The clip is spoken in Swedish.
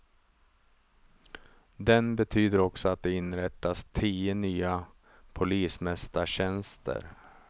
Den betyder också att det inrättas tio nya polismästartjänster.